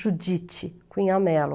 Judite Cunhamelo.